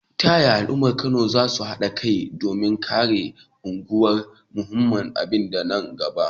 Ta yaya al’ummar Kano za su haɗa kai domin rage aukuwar munanan ɗabi’u a nan gaba?